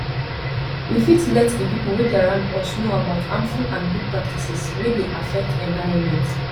we fit let di pipo wey dey around us know about harmful and good practices wey dey affect environment